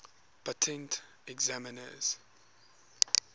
patent examiners